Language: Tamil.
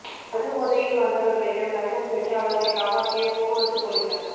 மது போதையில் வந்தவர்களிடம் லஞ்சம் பெற்று அவர்களை காப்பாற்றிய போக்குவரத்து பொலிசார்